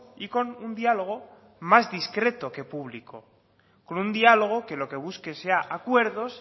y con un diálogo más discreto que público con un diálogo que lo que busque sean acuerdos